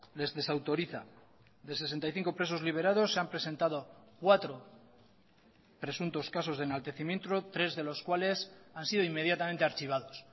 les desautoriza de sesenta y cinco presos liberados se han presentado cuatro presuntos casos de enaltecimiento tres de los cuales han sido inmediatamente archivados